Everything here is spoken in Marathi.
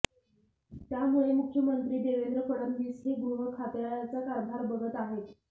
त्यामुळे मुख्यंमंत्री देवेंद्र फडणवीस हे गृहखात्याचा कारभार बघत आहेत